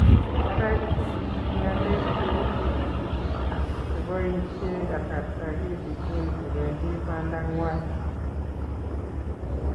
Ara isubi bik ngalek che wisis ak cheboishee kasarta kitikin kobendi banda ngwai